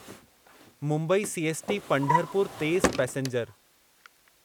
Mumbai CST Pandharpur तेज़ passenger